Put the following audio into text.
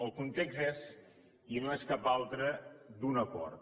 el context és i no és cap altre d’un acord